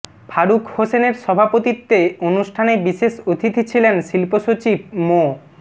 ফারুক হোসেনের সভাপতিত্বে অনুষ্ঠানে বিশেষ অতিথি ছিলেন শিল্পসচিব মো